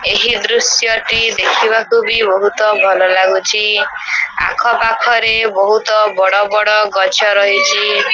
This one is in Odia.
ଏହି ଦୃଶ୍ୟ ଟି ଦେଖିବାକୁ ବି ବହୁତ ଭଲ ଲାଗୁଛି ଆଖ-ପାଖ ରେ ବହୁତ ବଡ଼ ବଡ଼ ଗଛ ରହିଚି।